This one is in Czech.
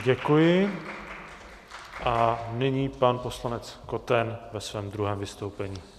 Děkuji a nyní pan poslanec Koten ve svém druhém vystoupení.